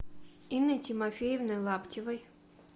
инной тимофеевной лаптевой